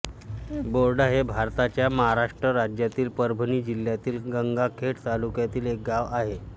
बोर्डा हे भारताच्या महाराष्ट्र राज्यातील परभणी जिल्ह्यातील गंगाखेड तालुक्यातील एक गाव आहे